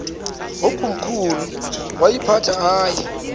yakomkhulu woyiphatha aye